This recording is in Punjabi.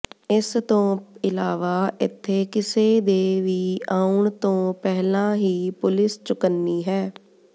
ਇਸ ਤੋਂ ਇਲਾਵਾ ਇੱਥੇ ਕਿਸੇ ਦੇ ਵੀ ਆਉਣ ਤੋਂ ਪਹਿਲਾਂ ਹੀ ਪੁਲਿਸ ਚੁਕੰਨੀ ਹੈ